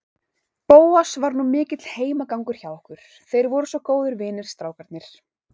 Bóas var nú mikill heimagangur hjá okkur, þeir voru svo góðir vinir, strákarnir.